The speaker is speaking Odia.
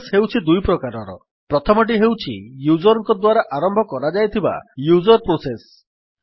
ପ୍ରୋସେସ୍ ହେଉଛି ଦୁଇ ପ୍ରକାରର ପ୍ରଥମଟି ହେଉଛି ୟୁଜର୍ ଙ୍କ ଦ୍ୱାରା ଆରମ୍ଭ କରାଯାଇଥିବା ୟୁଜର୍ ପ୍ରୋସେସ୍